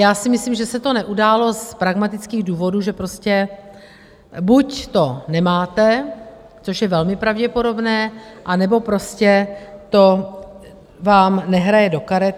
Já si myslím, že se to neudálo z pragmatických důvodů - že prostě buď to nemáte, což je velmi pravděpodobné, anebo prostě vám to nehraje do karet.